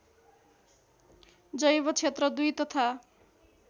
जैवक्षेत्र २ तथा